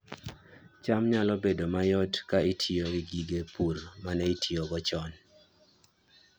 cham nyalo bedo mayot ka itiyo gi gige pur ma ne itiyogo chon